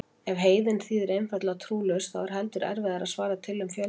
Ef heiðinn þýðir einfaldlega trúlaus þá er heldur erfiðara að svara til um fjölda.